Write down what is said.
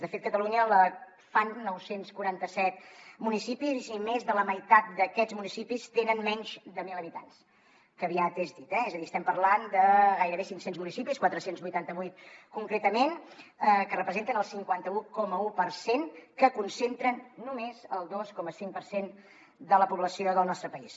de fet catalunya la fan nou cents i quaranta set municipis i més de la meitat d’aquests municipis tenen menys de mil habitants que aviat és dit eh és a dir estem parlant de gairebé cinc cents municipis quatre cents i vuitanta vuit concretament que representen el cinquanta un coma un per cent que concentren només el dos coma cinc per cent de la població del nostre país